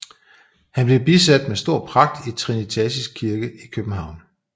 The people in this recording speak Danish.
Han blev bisat med stor pragt i Trinitatis Kirke i København